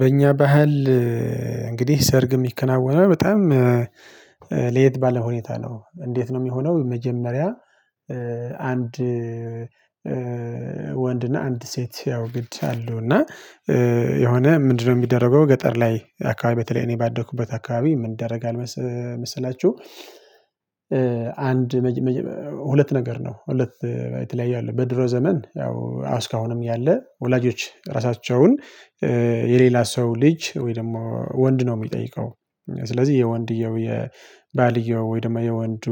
በእኛ ባህል እንግዲህ ሰርግ የሚከናወነው በጣም ለየት ባለ ሁኔታ ነው እንዴት ነው የሚሆነው? መጀመሪያ አንድ ወንድና አንድ ሴት ያው ግድ አለው እና የሆነ ምንድነው የሚደረገው ገጠር ላይ አካባቢ በተለይ እኔ ባደኩበት አካባቢ ምን ይደረጋል? መሰላችሁ አንድ ሁለት ነገር ነው ሁለት በተለያየ አለ በድሮ ዘመን ያው አስካሁንም ያለ ወላጆች ራሳቸውን የሌላ ሰው ልጅ ወይ ደግሞ ወንድ ነው የሚጠይቀው ስለዚህ የወንድየው የባልየው ወይ ደግሞ የወንዱ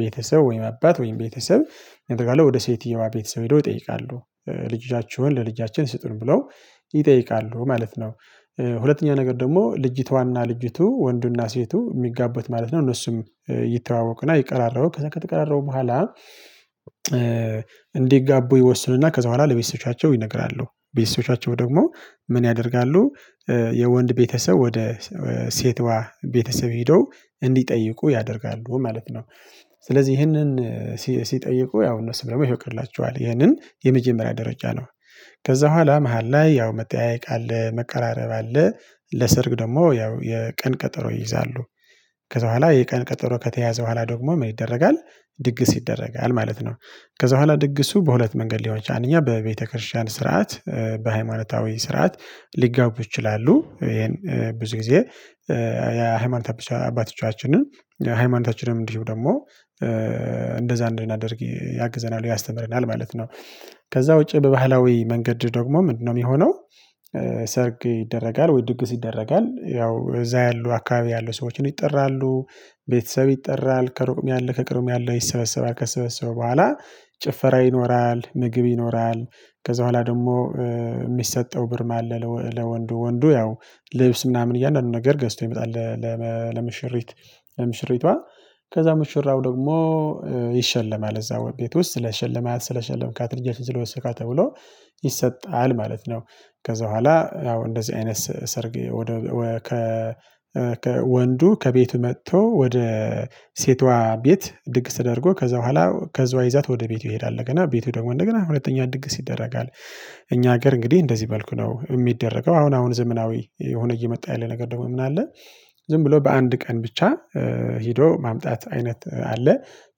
ቤተሰብ ወይ አባት ወይ ቤተሰብ ይጠይቃሉ ወደ ሴትየዋ ቤተሰብ ሄደው ይጠይቃሉ ልጃቸውን ለልጃችን ስጡን ብለው ይጠይቃሉ ማለት ነው። ሁለተኛ ነገር ደግሞ ልጅቷና ልጅቱ ወንዱና ሴቱ የሚጋበት ማለት ነው። እነሱም ይተዋወቅና እየተቀራረቡ ከዛ ከተቀራረቡ በኋላ እንዲጋቡ ይወስኑና ከዛ በኋላ ለቤተሰቦቻቸው ይነግራሉ ቤተሰቦቻቸው ደግሞ ምን ያደርጋሉ? የወንድ ቤተሰብ ወደ ሴቷ ቤተሰብ ሄዶ እንዲጠይቁ ያደርጋሉ ማለት ነው። ስለዚህ ይህንን ሲጠይቁ ያው እነሱ ደግሞ ይፈቅዱላችኋል ይህንን የመጀመሪያ ደረጃ ነው። ከዛ በኋላ መሃል ላይ ያው መጠያየቅ አለ መቀራረብ አለ። ለሰርግ ደግሞ ያው የቀን ቀጠሮ ይይዛሉ። ከዛ በኋላ የቀን ቀጠሮ ከተያዘ በኋላ ደግሞ ምን ይደረጋል? ድግስ ይደረጋል ማለት ነው። ከዛ በኋላ ድግሱ በሁለት መንገድ ሊሆን ይችላል እኛ በቤተክርስቲያን ስርዓት በሃይማኖታዊ ስርዓት ሊጋቡ ይችላሉ ይሄን ብዙ ጊዜ የሃይማኖታችን አባቶቻችንን የሃይማኖታችንም እንዲህ ደግሞ እንደዛ እንዲህ እናድርግ ያግዘናል ያስተምረናል ማለት ነው። ከዛ ውጪ በባህላዊ መንገድ ደግሞ ምንድነው የሚሆነው? ሰርግ ይደረጋል ወይ ድግስ ይደረጋል ያው እዛ ያሉ አካባቢ ያሉ ሰዎችን ይጠራሉ። ቤተሰብ ይጠራል ከሩቅም ያለ ከቅርም ያለ ይሰበሰባል። ከተሰበሰበ በኋላ ጭፈራ ይኖራል ምግብ ይኖራል። ከዛ በኋላ ደግሞ የሚሰጠው ብርም አለ ለወንዱ ወንዱ ያው ልብስ ምናምን እያልን ነገር ገዝቶ ይመጣል። ለምሽሪት ለምሽሪቷ ከዛ ምሽራው ደግሞ ይሸለማል እዛ ቤት ውስጥ ስለ ሸለማት ስለ ሸለምካት ልጅ ስለወሰድካት ተብሎ ይሰጣል ማለት ነው። ከዛ በኋላ ያው እንደዚህ አይነት ሰርግ ወደ ከ ወንዱ ከቤቱ መጥቶ ወደ ሴቷ ቤት ድግስ ተደርጎ ከዛ በኋላ ከዛ ይዟት ወደ ቤቱ ይሄዳል እና ቤቱ ደግሞ እንደገና ሁለተኛ ድግስ ይደረጋል። እኛ ሀገር እንግዲህ እንደዚህ በልኩ ነው የሚደረገው። አሁን አሁን ዘመናዊ የሆነ እየመጣ ያለ ነገር ደግሞ ምን አለ? ዝም ብሎ በአንድ ቀን ብቻ ሄዶ ማምጣት አይነት አለ።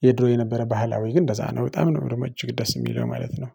የድሮ የነበረ ባህላዊ ግን እንደዛ ነው በጣም ነበረ ደግሞ እጅግ ደስ የሚለው ማለት ነው።